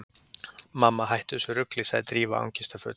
Mamma, hættu þessu rugli- sagði Drífa angistarfull.